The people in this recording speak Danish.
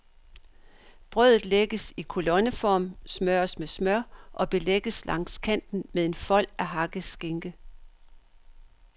Brødet lægges i kolonneform, smøres med smør og belægges langs kanten med en fold af hakket skinke.